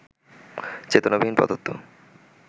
চেতনাবিহীন পদার্থ